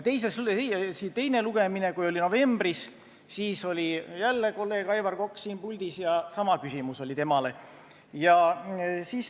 Novembris, kui oli teine lugemine, siis oli jälle kolleeg Aivar Kokk siin puldis ja sama küsimus esitati temale.